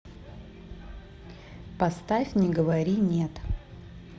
поставь не говори нет